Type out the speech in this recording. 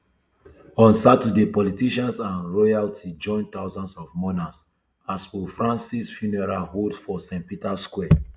on saturday politicians and royalty join thousands of mourners as pope francisfuneral hold for st peters square